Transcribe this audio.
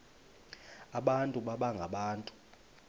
abantu baba ngabantu